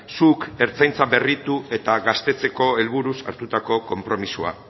zuk ertzaintza berritu eta gaztetzeko helburuz hartutako konpromisoa